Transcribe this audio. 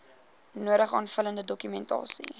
nodige aanvullende dokumentasie